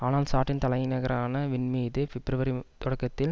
ஆனால் சாட்டின் தலை நகரான வின்மீது பிப்ரவரி தொடக்கதில்